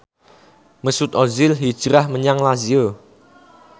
Mesut Ozil hijrah menyang Lazio